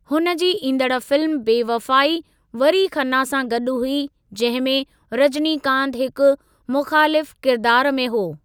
हुन जी ईंदड़ फ़िल्म बेवफ़ाई, वरी खन्ना सां गॾु हुई जंहिं में रजनीकांत हिकु मुख़ालिफ़ु किरिदार में हो।